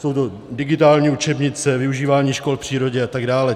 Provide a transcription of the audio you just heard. Jsou to digitální učebnice, využívání škol v přírodě atd.